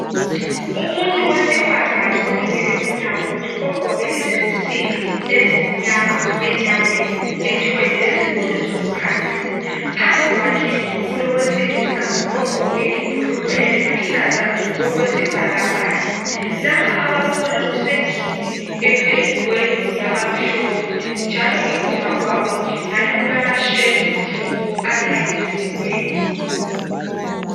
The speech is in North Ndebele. Umuntu wesifazane olimele unyawo ogqoke izinsimbi ezimnyama enyaweni ethwele lezigodo zokuhambisa. Phambi kwakhe kulowesilisa ogqoke ibhurugwe eliluhlaza okwesibhakabhaka. Lapha abakhona kusendlini ependwe yabamhlophe njalo ngemuva kwabo ngani kulamashelufu alayinisiweyo.